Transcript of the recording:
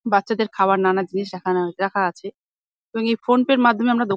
বাচ্চাদের খাবার নানান জিনিস এখানে রাখা আছে এবং এই ফোন পে -এর মাধ্যমে আমরা দ --